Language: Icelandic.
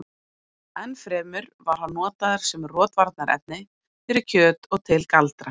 enn fremur var hann notaður sem rotvarnarefni fyrir kjöt og til galdra